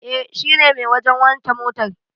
E, shine mai wajen wanke motar.